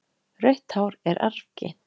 Rautt hár er arfgengt.